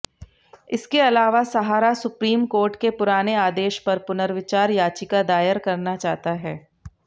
इसके अलावा Sahara supreme court के पुराने आदेश पर पुनर्विचार याचिका दायर करना चाहता है